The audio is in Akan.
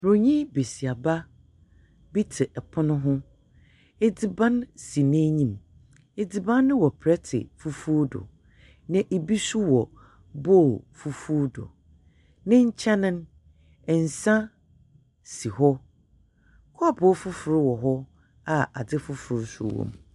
Broyni besiaba bi te pono ho. Edziban si n'enyim. Edziban no wɔ plɛte fufuw do, an bi nso wɔ bowl fufuw do. Ne nkyɛn no, nsa si hɔ. Kɔɔpoo fofor wɔ hɔ a adze fofor nso wɔ mu.